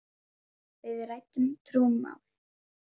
Við ræddum trúmál.